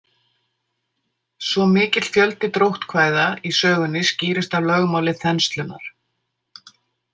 Svo mikill fjöldi dróttkvæða í sögunni skýrist af lögmáli þenslunnar.